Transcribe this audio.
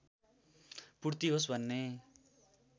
पूर्ति होस् भन्ने